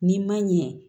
N'i ma ɲɛ